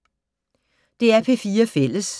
DR P4 Fælles